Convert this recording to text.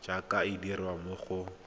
jaaka e dirwa mo go